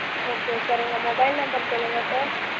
okay sir உங்களோட mobile number சொல்லுங்க sir